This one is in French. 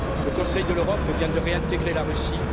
Le Conseil de l'Europe vient de réintégrer la Russie.